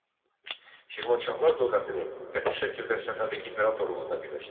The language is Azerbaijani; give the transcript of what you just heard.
Şirvanşahlar dövlətini qəti şəkildə Səfəvi imperatorluğuna birləşdirdi.